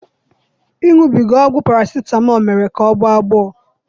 Iṅụbiga ọgwụ paracetamol mere ka ọ gbọ agbọ